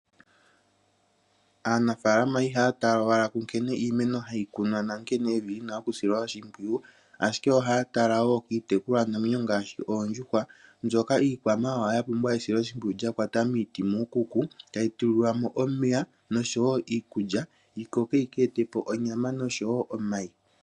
Aanafalama ihaya tala owala ku nkene iimeno hayi kunwa nankene evi lina oku silwa oshimpwiyu, ashike ohaa tala wo kiitekulwa namwenyo ngaashi oondjuhwa mbyoka iikwamawawa yapumbwa esilo shimpwiyu lyakwata miiti muukuku tayi tulilwamo omeya noshowo iikulya, yikoke yi keetepo onyama noshowo omayi.